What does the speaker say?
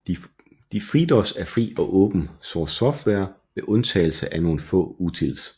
FreeDOS er fri og åben source software med undtagelse af nogle få utils